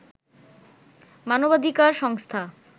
মানবাধিকার সংস্থা